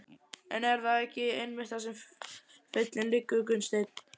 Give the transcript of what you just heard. En er það ekki einmitt þar sem feillinn liggur Gunnsteinn?